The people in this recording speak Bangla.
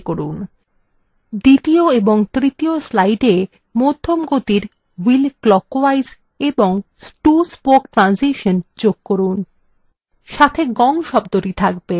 দ্বিতীয় এবং তৃতীয় স্লাইডে মধ্যম গতির wheel clockwise এবং 2 spoke ট্রানসিসন যোগ করুন সাথে গং শব্দটি থাকবে